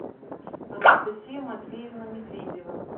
анастасия матвеевна медведева